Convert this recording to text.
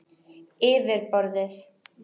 Yfir borðið.